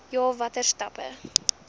ja watter stappe